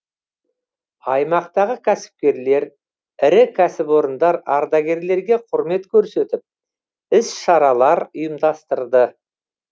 аймақтағы кәсіпкерлер ірі кәсіпорындар ардагерлерге құрмет көрсетіп іс шаралар ұйымдастырды